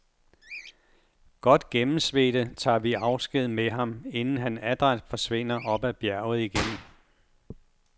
Godt gennemsvedte tager vi afsked med ham, inden han adræt forsvinder op ad bjerget igen.